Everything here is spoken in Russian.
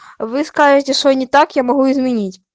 выскажите своё не так я могу изменить